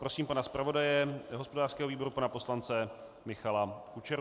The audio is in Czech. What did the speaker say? Prosím pana zpravodaje hospodářského výboru, pana poslance Michala Kučeru.